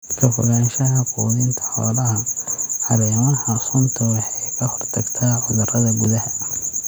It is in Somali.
Ka fogaanshaha quudinta xoolaha caleemaha suntu waxay ka hortagtaa cudurada gudaha.